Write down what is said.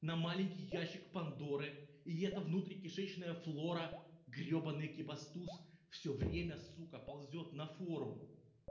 на маленький ящик пандоры и эта внутри кишечная флора гребаный экибастуз всё время сука ползёт на фору